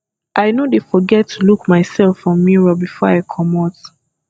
i no dey forget to look mysef for mirror before i comot